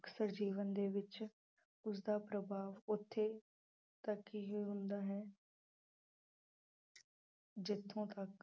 ਅਕਸਰ ਜੀਵਨ ਦੇ ਵਿੱਚ ਉਸਦਾ ਪ੍ਰਭਾਵ ਉੱਥੇ ਤੱਕ ਹੀ ਹੁੰਦਾ ਹੈ ਜਿੱਥੋਂ ਤੱਕ